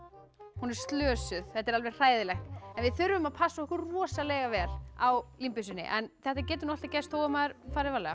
hún er slösuð þetta er alveg hræðilegt en við þurfum að passa okkur rosalega vel á límbyssunni þetta getur nú alltaf gerst þó maður fari varlega